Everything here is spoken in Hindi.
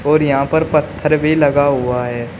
और यहां पर पत्थर भी लगा हुआ है।